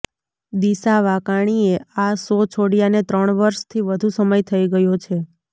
દિશા વાકાણીએ આ શો છોડ્યાને ત્રણ વર્ષથી વધુ સમય થઈ ગયો છે